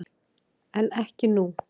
En ekki nú.